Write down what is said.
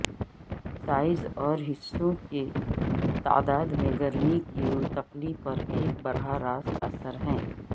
size اور حصوں کی تعداد میں گرمی کی منتقلی پر ایک براہ راست اثر ہے